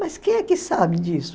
Mas quem é que sabe disso?